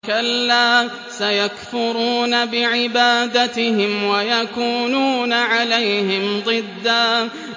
كَلَّا ۚ سَيَكْفُرُونَ بِعِبَادَتِهِمْ وَيَكُونُونَ عَلَيْهِمْ ضِدًّا